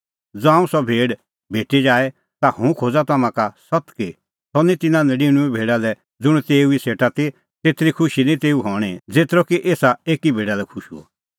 ज़ांऊं सह भेड़ भेटी जाए ता हुंह खोज़ा तम्हां का सत्त कि सह निं तिन्नां नडिनुंऐं भेडा लै ज़ुंण तेऊ ई सेटा ती तेतरी खुशी निं तेऊ हणीं ज़ेतरअ कि एसा भेडा लै खुश हुअ